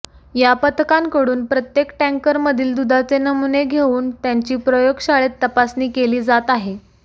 या पथकांकडून प्रत्येक टॅंकरमधील दुधाचे नमुने घेऊन त्यांची प्रयोगशाळेत तपासणी केली जात आहे